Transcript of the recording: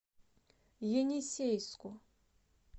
енисейску